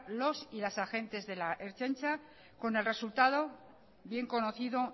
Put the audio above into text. los y las agentes de la ertzaintza con el resultado bien conocido